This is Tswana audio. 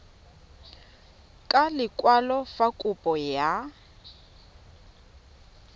ka lekwalo fa kopo ya